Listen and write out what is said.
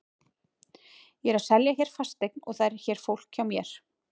Ég er að selja hér fasteign og það er hér fólk hjá mér.